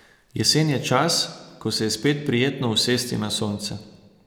Jesen je čas, ko se je spet prijetno usesti na sonce.